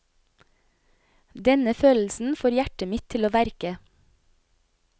Denne følelsen får hjertet mitt til å verke.